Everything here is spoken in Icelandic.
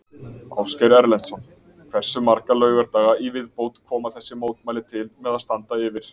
Ásgeir Erlendsson: Hversu marga laugardaga í viðbót koma þessi mótmæli til með að standa yfir?